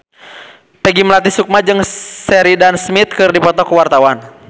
Peggy Melati Sukma jeung Sheridan Smith keur dipoto ku wartawan